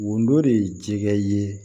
Wodɔ de ye jɛgɛ ye